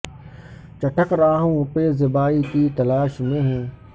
چٹخ رہا ہوں پہ زیبائی کی تلاش میں ہوں